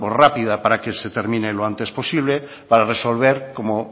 rápida para que se termine lo antes posible para resolver como